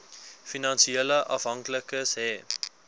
finansiële afhanklikes hê